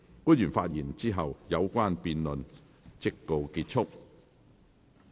官員發言後，有關的辯論環節即告結束。